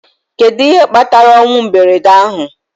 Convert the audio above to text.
Kedu ihe kpatara ọnwụ mberede ahụ